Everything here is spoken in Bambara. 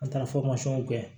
An taara kɛ